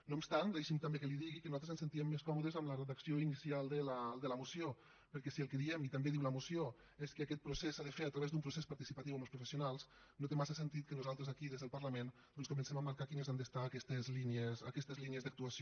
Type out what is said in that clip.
no obstant això deixi’m també que li digui que nosaltres ens sentíem més còmodes amb la redacció inicial de la moció perquè si el que diem i també ho diu la moció és que aquest procés s’ha de fer a través d’un procés participatiu amb els professionals no té massa sentit que nosaltres aquí des del parlament doncs comencem a marcar quines han de ser aquestes línies d’actuació